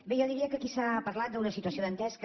bé jo diria que aquí s’ha parlat d’una situació dantesca